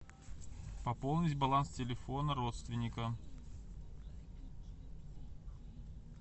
пополнить баланс телефона родственника